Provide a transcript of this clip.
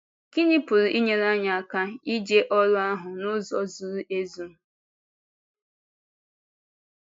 Gịnị pụrụ inyere anyị aka ịje ọ́rụ ahụ n’ụzọ zuru ezu?